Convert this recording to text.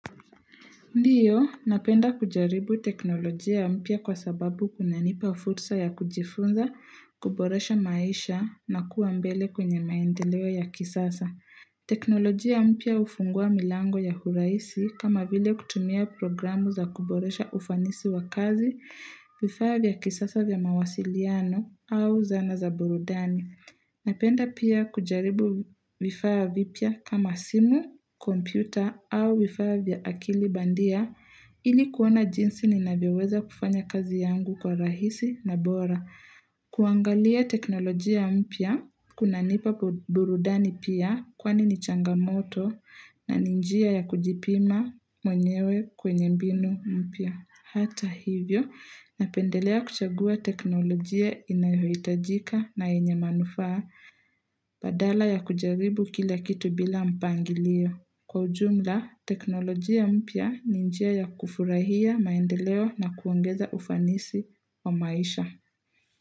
Ndiyo, napenda kujaribu teknolojia mpya kwa sababu kunanipa fursa ya kujifunza, kuboresha maisha na kuwa mbele kwenye maendeleo ya kisasa. Teknolojia mpya hufungua milango ya huraisi kama vile kutumia programu za kuboresha ufanisi wa kazi, vifaa vya kisasa vya mawasiliano au zana za burudani. Napenda pia kujaribu vifaa vipya kama simu, kompyuta au vifaa vya akili bandia ili kuona jinsi ninavyoweza kufanya kazi yangu kwa rahisi na bora. Kuangalia teknolojia mpya, kunanipa budurudani pia kwani ni changamoto na ni njia ya kujipima mwenyewe kwenye mbinu mpya. Hata hivyo, napendelea kuchagua teknolojia inayohitajika na yenye manufaa badala ya kujaribu kila kitu bila mpangilio. Kwa ujumla, teknolojia mpya ni njia ya kufurahia maendeleo na kuongeza ufanisi wa maisha.